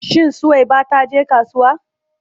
Shin Suwaiba ta je kasuwa?